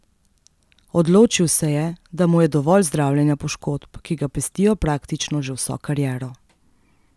Odločil se je, da mu je dovolj zdravljenja poškodb, ki ga pestijo praktično že vso kariero.